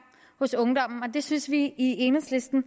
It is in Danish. hos ungdommen og det synes vi i enhedslisten